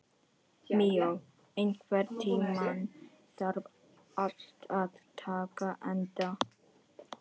Míó, einhvern tímann þarf allt að taka enda.